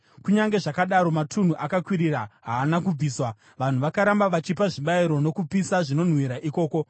Kunyange zvakadaro matunhu akakwirira haana kubviswa, vanhu vakaramba vachipa zvibayiro nokupisa zvinonhuhwira ikoko.